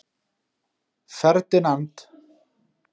Ferdinand